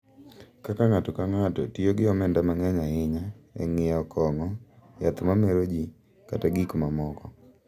Kaka ng’ato ka ng’ato tiyo gi omenda mang’eny ahinya e ng’iewo kong’o, yath ma mero ji, kata gik mamoko.